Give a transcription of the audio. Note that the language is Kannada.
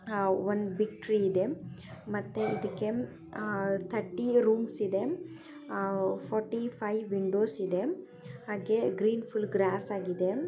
ಹ್ಹ್ ಒಂದು ಬಿಗ್ ಟ್ರೀ ಇದೆ. ಮತ್ತೆ ಇದಕ್ಕೆ ಆ ಥರ್ಟಿ ರೂಮ್ಸ್ ಇದೆ. ಹ್ಹಾ ಫೋಟಿಫೈವ್ ವಿಂಡೋಸ್ ಇದೆ ಹಾಗೆ ಗ್ರೀನ್ ಫುಲ್ ಗ್ರಾಸ್ ಆಗಿದೆ.